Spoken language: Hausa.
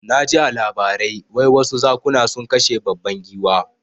Naji a labarai wai wasu zakuna sun kashe babban giwa